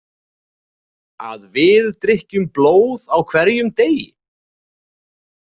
Að við drykkjum blóð á hverjum degi?